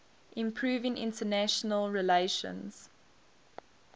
improving international relations